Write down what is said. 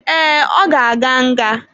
Ee, ọ ga-aga nga.